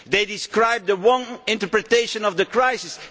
They describe the misinterpretation of the crisis.